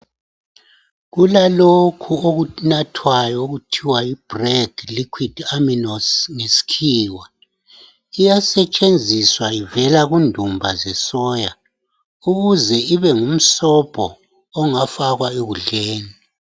Kulalokho okunathwayo okuthiwa yi "Bragg liquid amigos" ngesikhiwa. Iyasetshenziswa ivela kundumba zesoya, ukuze ibengumsobho ongafakwa ekudleni